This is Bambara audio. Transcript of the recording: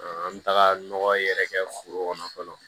An bɛ taga nɔgɔ yɛrɛ kɛ foro kɔnɔ fɔlɔ